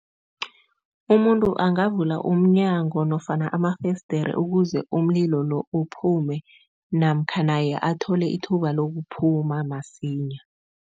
Umuntu angavula umnyango nofana amafesdere ukuze umlilo lo uphume namkha naye athole ithuba lokuphuma masinya.